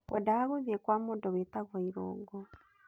Ngwendaga gũthiĩ kwa mũndũ wĩtagwo Irũngũ.